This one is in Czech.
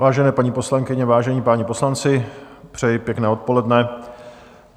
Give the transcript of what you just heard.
Vážené paní poslankyně, vážení páni poslanci, přeji pěkné odpoledne.